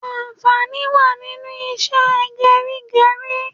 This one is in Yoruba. Ànfàní wá nínú ìṣe gerigeri